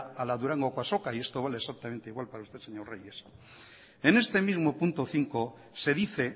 a la durangoko azoka y esto vale exactamente igual para usted señor reyes en este mismo punto cinco se dice